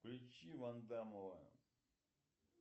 включи ван дамова